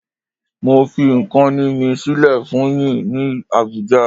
Mo fi nkan mi sile fun yin ni Abuja